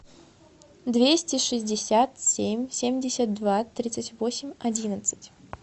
двести шестьдесят семь семьдесят два тридцать восемь одиннадцать